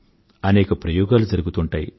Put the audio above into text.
అనేక ప్రయోగాలు జరుగుతుంటాయి